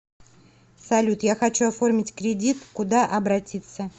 салют я хочу оформить кредит куда обратиться